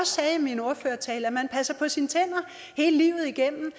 sagde i min ordførertale at man passer på sine tænder hele livet igennem